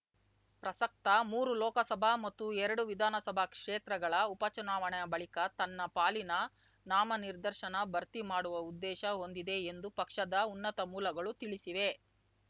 ಪ್ರಸಕ್ತ ಮೂರು ಲೋಕಸಭಾ ಮತ್ತು ಎರಡು ವಿಧಾನಸಭಾ ಕ್ಷೇತ್ರಗಳ ಉಪಚುನಾವಣೆ ಬಳಿಕ ತನ್ನ ಪಾಲಿನ ನಾಮನಿರ್ದೇಶನ ಭರ್ತಿ ಮಾಡುವ ಉದ್ದೇಶ ಹೊಂದಿದೆ ಎಂದು ಪಕ್ಷದ ಉನ್ನತ ಮೂಲಗಳು ತಿಳಿಸಿವೆ